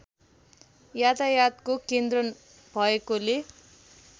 यातायातको केन्द्र भएकोले